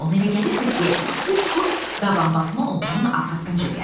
Ona elə gəlirdi ki, bu çuxur dabanbasma onların arxasınca gəlir.